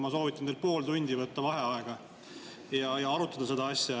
Ma soovitan teil pool tundi võtta vaheaega ja arutada seda asja.